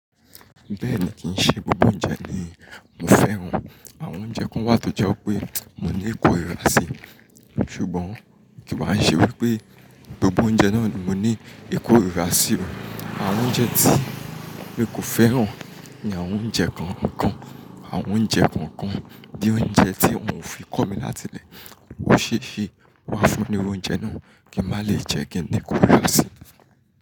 Bẹ́ẹ̀ ni, kì í ṣe gbogbo oúnjẹ ni mo fẹ́ran. Àwọn oúnjẹ kan wà tó jẹ́ pé mo ní ìkóra sí, ṣùgbọ́n kì wá ṣe wípé gbogbo oúnjẹ náà ni mo ní ìkóra sí. Àwọn oúnjẹ tí mi kò fẹ́ran ni àwọn oúnjẹ kan kan. Àwọn oúnjẹ kan kan ni oúnjẹ tí wọ́n fi kọ́ mi láti ilé. Ó ṣe ṣe wà fún ni oúnjẹ náà kí n má lè jẹ́ kí n ní ìkóra sí.